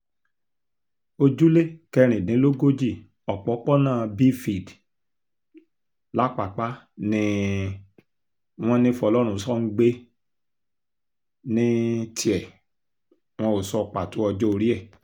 ojúlé kẹrìndínlógójì ọ̀pọ̀pọ̀nà biéfield lápàpá ni um wọ́n ní fọlọ́runṣọ ń gbé ní um tiẹ̀ wọn ò sọ pàtó ọjọ́-orí ẹ̀